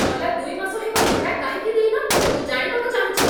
ଗଲା ଦୁଇ ମାସ ହେବ ଭଡ଼ା କାହିଁକି ଦେଇନ? ମୁଁ ଜାଣିବାକୁ ଚାହୁଁଛି ।